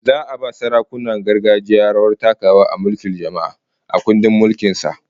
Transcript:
Za'a ba sarakunan gargajiya rawar takawa a mulkin jama'a, a kundin mulkin kasa